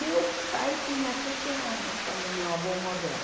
Meu pai tinha sete anos quando meu avô morreu.